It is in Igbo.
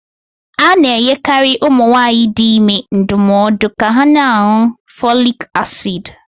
A na enyekari ụmụ nwanyị dị ime ndụmọọdu ka ha na añụ fọlịk acid